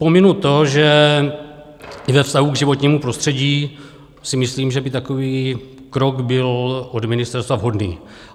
Pominu to, že ve vztahu k životnímu prostředí si myslím, že by takový krok byl od ministerstva vhodný.